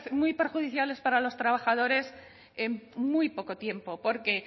muy perjudiciales para los trabajadores en muy poco tiempo porque